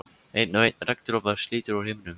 Einn og einn regndropa slítur úr himninum.